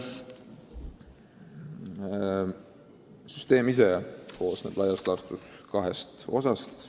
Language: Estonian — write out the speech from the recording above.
Süsteem ise koosneb laias laastus kahest osast.